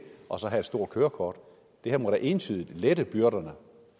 og så at have et stort kørekort det her må da entydigt lette byrderne